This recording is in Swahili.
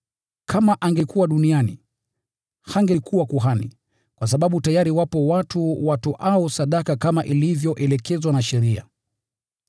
Kama angekuwa duniani, hangekuwa kuhani, kwa sababu tayari wapo watu watoao sadaka kama ilivyoelekezwa na sheria.